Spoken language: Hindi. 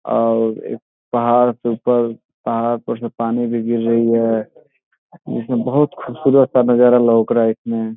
और पहाड़ से ऊपर पहाड़ पर से पानी भी गिर रही है। इसमें बहुत खुबसूरत सा नजारा लोक रहा है इसमें।